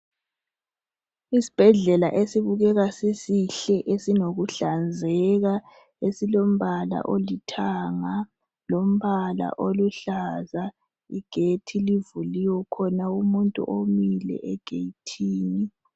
Isibhedlela esibukeka sisihle esinokuhlanzeka esilombala olithanga lombala oluhlaza, igethi livuliwe kukhona umuntu omile egethini.